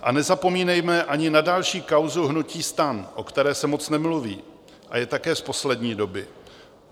A nezapomínejme ani na další kauzu hnutí STAN, o které se moc nemluví a je také z poslední doby.